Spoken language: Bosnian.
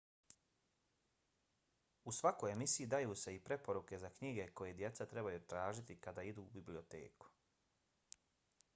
u svakoj emisiji daju se i preporuke za knjige koje djeca trebaju tražiti kada idu u biblioteku